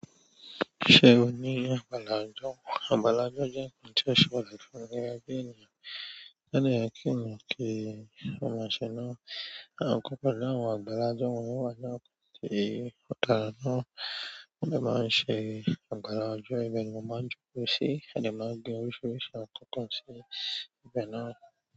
Ṣé o ní àgbàlá ọjọ? Àgbàlá ọjọ jẹ́ nǹkan ti o ṣe pàtàkì fún mi gẹ́gẹ́ ènìyàn. To dé kí ènìyàn ki o máa ṣé náà. Àkọ́kọ́ láwọn àgbàlá ọjọ o wà inú àwọn àkókò ti o dára náà. Wọ́n dẹ báa wa ṣe àgbàlá ọjọ, ibẹ̀ ni mo máa ń jókòó sí, a de máa ń gbé oríṣiríṣi àwọn nǹkan kan sí ibẹ̀ náà.